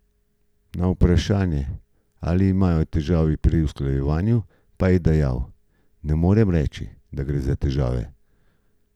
Na vprašanje, ali imajo težave pri usklajevanju, pa je dejal: "Ne morem reči, da gre za težave.